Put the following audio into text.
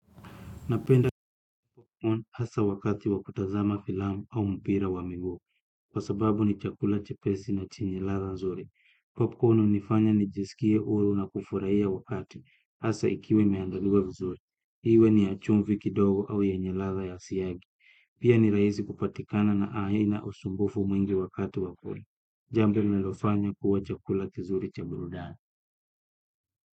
Napenda popcorn asa wakati wa kutazama filamu au mpira wa miguu kwa sababu ni chakula chepesi na chenye ladha nzuri. Popcorn unifanya nijiskie uru na kufurahia wakati asa ikiwa imeandaliwa vizuri. Hiwe ni ya chumvi kidogo au yenye ladha ya siagi. Pia ni raisi kupatikana na aina usumbufu mwingi wakati wa kura. Jambo linalofanya kuwa chakula kizuri cha burudani.